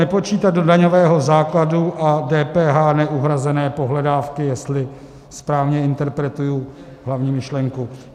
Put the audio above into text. Nepočítat do daňového základu a DPH neuhrazené pohledávky, jestli správně interpretuji hlavní myšlenku.